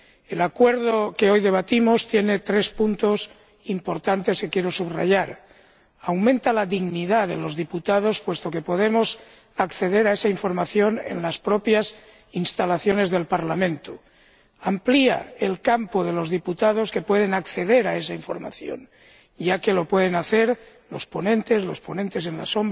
El acuerdo que hoy debatimos tiene tres puntos importantes que quiero subrayar aumenta la dignidad de los diputados, puesto que podemos acceder a esa información en las propias instalaciones del Parlamento amplía las categorías de diputados que pueden acceder a esa información, ya que lo pueden hacer los ponentes, los ponentes alternativos